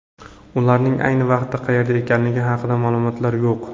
Ularning ayni vaqtda qayerda ekanligi haqida ma’lumotlar yo‘q.